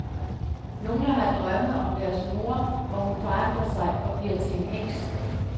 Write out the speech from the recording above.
Nogle har drømme om deres mor, hvor hun forandrer sig og bliver til en heks.